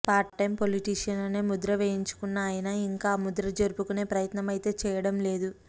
part time politician అనే ముద్ర వేయించుకున్న ఆయన ఇంకా ఆ ముద్ర చెరుపుకునే ప్రయత్నం అయితే చేయడంలేదు